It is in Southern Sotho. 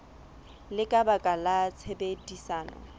le ka baka la tshebedisano